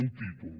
un títol